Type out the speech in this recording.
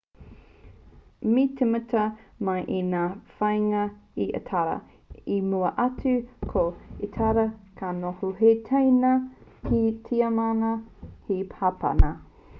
me tīmata mai i ngā whāinga a itāria i mua atu ko itāria ka noho hei teina ki a tiamana me hapāna